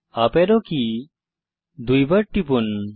উপারো কী দুইবার টিপুন